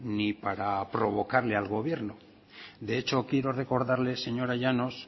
ni para provocarle al gobierno de hecho quiero recordarle señora llanos